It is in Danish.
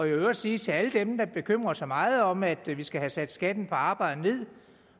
i øvrigt sige til alle dem der bekymrer sig meget om at vi skal have sat skatten på arbejde ned